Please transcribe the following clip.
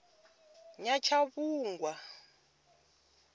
nyatshavhungwa